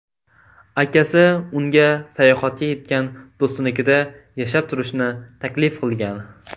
Akasi unga sayohatga ketgan do‘stinikida yashab turishni taklif qilgan.